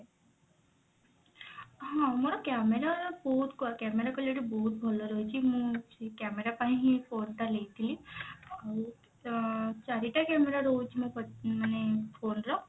ହଁ ମୋର camera ବହୁତ camera quality ବହୁତ ଭଲ ରହିଛି ମୁଁ ସେଇ camera ପାଇଁ ହିଁ phone ଟା ନେଇଥିଲି ଆଉ ଅ ଚାରିଟା camera ରହୁଛି ମୋ ମାନେ phone ର